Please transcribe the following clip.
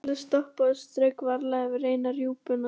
Lilla stoppaði og strauk varlega yfir eina rjúpuna.